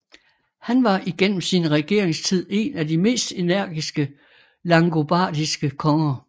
Han var igennem sin regeringstid en af de mest energiske langobardiske konger